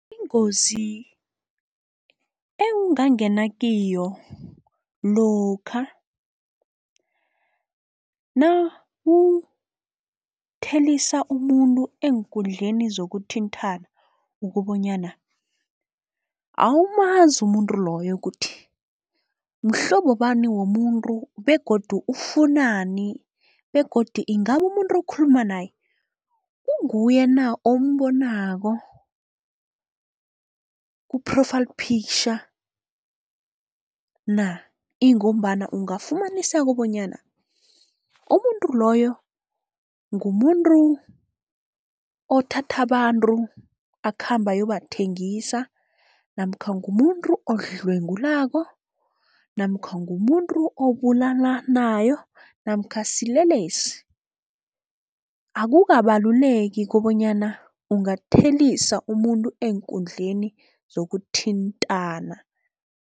Ingozi ewungangena kiyo lokha nawuthelisa umuntu eenkundleni zokuthinthana, ukobonyana awumazi umuntu loyo kuthi mhlobo bani womuntu begodu ufunani begodi ingabe umuntu okhuluma naye kunguye na ombonako ku-profile picture na. Ingombana ungafumaniseka bonyana umuntu loyo ngumuntu othatha abantu, akhambe ayobathengisa namkha ngumuntu odlwengulako, namkha ngumuntu obulalanayo namkha silelesi, akukabaluleki kobonyana ungathelisa umuntu eenkundleni zokuthintana.